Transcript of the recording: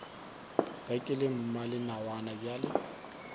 ge ke le mmalenawana bjale